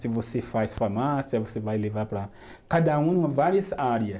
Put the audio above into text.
Se você faz farmácia, você vai levar para. Cada um em várias áreas.